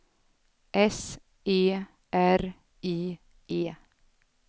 S E R I E